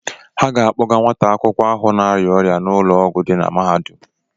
Ha ga-akpọga nwata akwụkwọ ahụ na-arịa ọrịa ụlọọgwụ dị na mahadum.